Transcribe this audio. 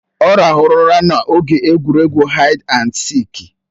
Ọ ràhụrụ ụra n'oge egwuregwu haid andi sịịk.